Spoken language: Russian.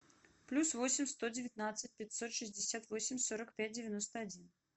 плюс восемь сто девятнадцать пятьсот шестьдесят восемь сорок пять девяносто один